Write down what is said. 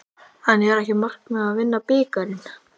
En er ekki markmiðið að vinna bikarinn?